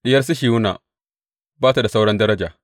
Diyar Sihiyona ba ta da sauran daraja.